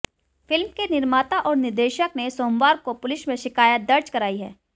film के निर्माता और निर्देशक ने सोमवार को पुलिस मे शिकायत दर्जी कराई है